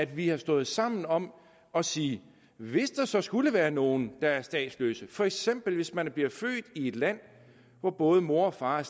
vi har stået sammen om at sige hvis der så skulle være nogle der er statsløse for eksempel hvis man bliver født i et land hvor både mor og far